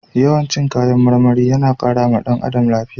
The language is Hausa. Yawan cin kayan marmari yana kara wa ɗan adam lafiya.